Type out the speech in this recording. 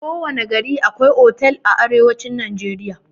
Kowana gari akwai otal a arewacin najeriya.